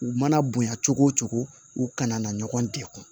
U mana bonya cogo o cogo u kana na ɲɔgɔn degun